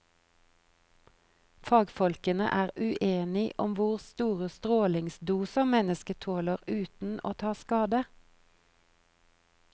Fagfolkene er uenig om hvor store strålingsdoser mennesket tåler uten å ta skade.